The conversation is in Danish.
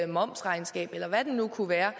momsregnskab eller hvad det nu kunne være